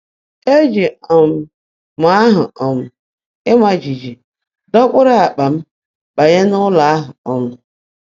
Eji um m ahụ um ịma jijiji dọkpụrụ akpa m banye n’ụlọ ahụ. um